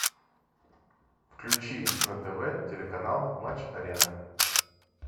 включи на тв телеканал матч арена